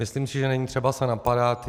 Myslím si, že není třeba se napadat.